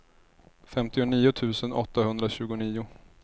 femtionio tusen åttahundratjugonio